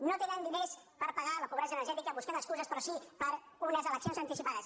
no tenen diners per pagar la pobresa energètica buscant excuses però sí per a unes eleccions anticipades